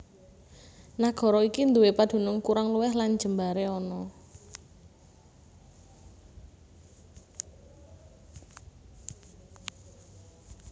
Nagara iki nduwé padunung kurang luwih lan jembaré ana